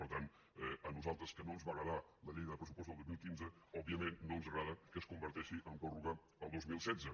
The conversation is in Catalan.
per tant a nosaltres que no ens va agradar la llei de pressupostos del dos mil quinze òbviament no ens agrada que es converteixi en pròrroga el dos mil setze